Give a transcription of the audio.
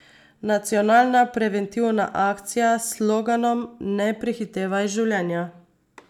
Nacionalna preventivna akcija s sloganom Ne prehitevaj življenja.